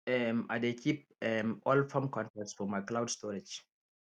um i dey keep um all farm contracts for my cloud storage